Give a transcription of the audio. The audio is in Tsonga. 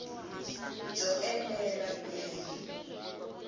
byo enela ku ya hi